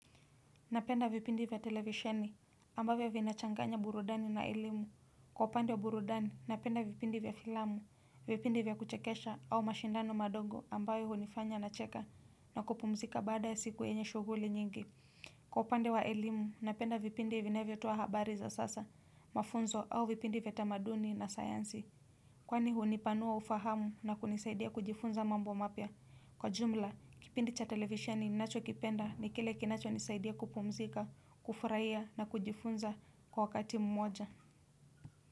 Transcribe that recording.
Napenda vipindi vya televisheni ambavyo vinachanganya burudani na elimu. Kwa upande wa burudani napenda vipindi vya filamu, vipindi vya kuchekesha au mashindano madogo ambayo hunifanya nacheka na kupumzika baada ya siku yenye shughuli nyingi. Kwa upande wa elimu napenda vipindi vyavyotoa habari za sasa, mafunzo au vipindi vya tamaduni na sayansi. Kwani hunipanua ufahamu na kunisaidia kujifunza mambo mapya. Kwa jumla, kipindi cha televisheni ninachokipenda ni kile kinachonisaidia kupumzika, kufurahia na kujifunza kwa wakati mmoja.